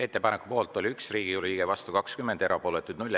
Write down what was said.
Ettepaneku poolt oli 1 Riigikogu liige, vastu 20, erapooletuid 0.